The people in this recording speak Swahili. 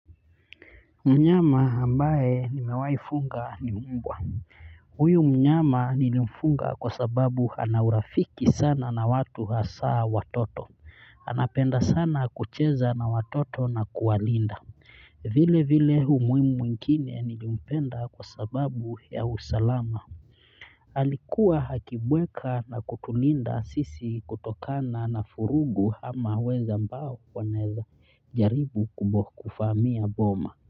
Mnyama ambaye nimewai funga ni mbwa huyu mnyama nilimfunga kwa sababu ana urafiki sana na watu hasaa watoto anapenda sana kucheza na watoto na kuwalinda vile vile umuhimu mwingine nilimpenda kwa sababu ya usalama alikuwa akibweka na kutulinda sisi kutokana na furugu ama wezi ambao wanaeza jaribu kuvamia boma.